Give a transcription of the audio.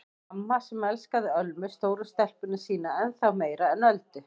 Mamma sem elskaði Ölmu stóru stelpuna sína ennþá meira en Öldu.